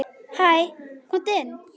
Hæ, komdu inn.